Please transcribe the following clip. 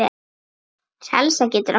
Salsa getur átt við